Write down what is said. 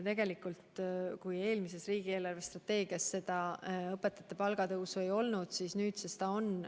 Eelmises riigi eelarvestrateegias õpetajate palga tõusu ei olnud, aga nüüdsest on.